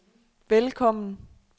velkommen